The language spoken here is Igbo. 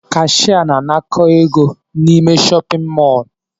Cashier na-anakọ égo n'ime shọpin mọl.